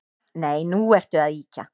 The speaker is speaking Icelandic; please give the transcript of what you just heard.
Nei, nú ertu að ýkja